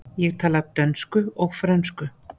Ég tala dönsku og frönsku.